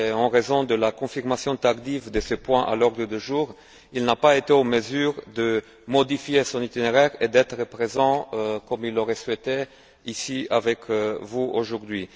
En raison de la confirmation tardive de ce point à l'ordre du jour, il n'a pas été en mesure de modifier son itinéraire et d'être présent, comme il l'aurait souhaité, ici, avec vous aujourd'hui.